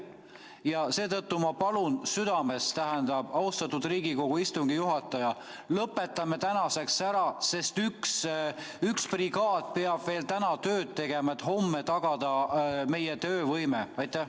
Ja seetõttu ma palun südamest, austatud Riigikogu istungi juhataja, lõpetame tänaseks ära, sest üks brigaad peab veel täna tööd tegema, et homme tagada meie töövõime!